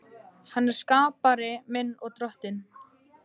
Hann er skapari minn og Drottinn.